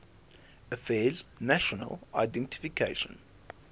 affairs national identification